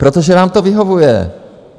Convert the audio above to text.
Protože vám to vyhovuje.